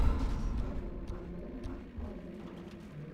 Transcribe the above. батл конора мейнарда